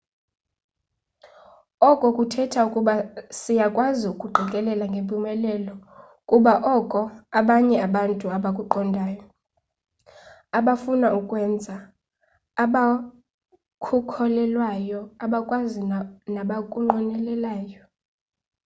oko kuthetha ukuba siyakwazi ukuqikelela ngempumelelo ukuba oko abanye abantu abakuqondayo abafuna ukukwenza abakhukholelwayo abakwazi nabakunqwenelayo